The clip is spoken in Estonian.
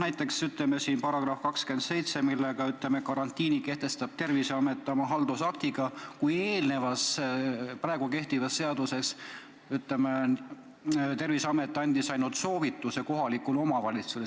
Näiteks, § 27 alusel kehtestab karantiini Terviseamet oma haldusaktiga, kui kehtiva seaduse järgi Terviseamet andis ainult soovituse kohalikule omavalitsusele.